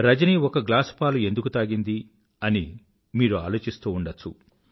రజని ఒక గ్లాస్ పాలు ఎందుకు తాగింది అని మీరు ఆలోచిస్తూ ఉండచ్చు